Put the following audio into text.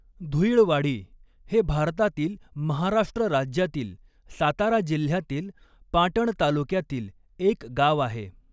धुईळवाडी हे भारतातील महाराष्ट्र राज्यातील सातारा जिल्ह्यातील पाटण तालुक्यातील एक गाव आहे.